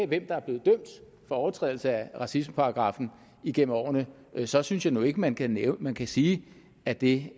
hvem der er blevet dømt for overtrædelse af racismeparagraffen igennem årene så synes jeg nu ikke man kan man kan sige at det